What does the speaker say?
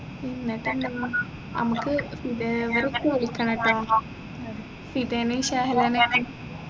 ഉം എന്നിട്ടെന്താ അമ്മക്ക് ഫിദ അവരൊക്കെ വിളിക്കനട്ട ഫിദനേം ഷഹലനൊക്കെ